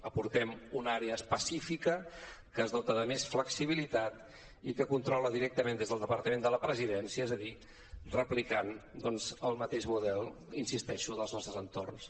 aportem una àrea específica que es dota de més flexibilitat i que controla directament des del departament de la presidència és a dir replicant el mateix model hi insisteixo dels nostres entorns